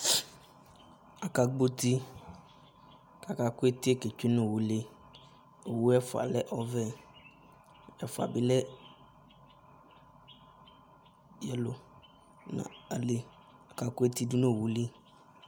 aka gbɔ uti ko aka ko eti yɛ ke tsue no owu li owu ɛfua lɛ ɔvɛ ɛfua bi lɛ ɛlo no ayili aka ko eti do no owu li